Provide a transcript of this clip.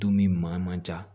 Dumuni maa man ca